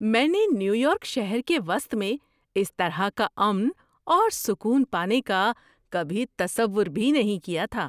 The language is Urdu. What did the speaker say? میں نے نیو یارک شہر کے وسط میں اس طرح کا امن اور سکون پانے کا کبھی تصور بھی نہیں کیا تھا!